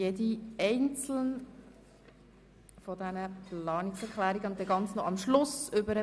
Bei einer davon gab es eine kleine Änderung, auf die ich Sie dort noch hinweisen werde.